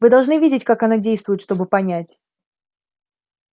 вы должны видеть как она действует чтобы понять